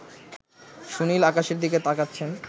সুনীল আকাশের দিকে তাকাচ্ছেন